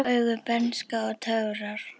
Blá augu, bernska og töfrar